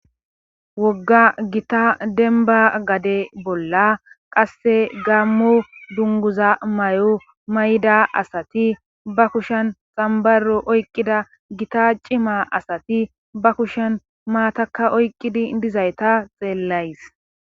wogga gita denba gade bolla qasse gaammo dunguza may7o may7da asati ba kushen xambaro oyqqida gita cima asati ba kushen maataka oyqqidi dizayta xeellays